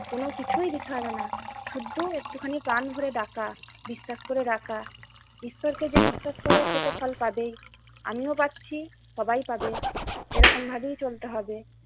কোন কিছুই দিতে হবে না, শুধু একটুখানি প্রাণ ভরে ডাকা, বিশ্বাস করে ডাকা, ঈশ্বরকে যে বিশ্বাস করে সে তো ফল পাবেই, আমিও পাচ্ছি সবাই পাবে এরকম ভাবেই চলতে হবে।